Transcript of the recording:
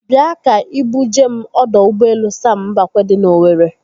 Bịa ka ị bu jee m ọdọ ụgbọelu Sam Mbakwe dị n'Owere.